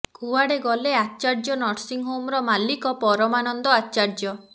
କୁଆଡେ ଗଲେ ଆଚାର୍ଯ୍ୟ ନର୍ସିଙ୍ଗ ହୋମର ମାଲିକ ପରମାନନ୍ଦ ଆଚାର୍ଯ୍ୟ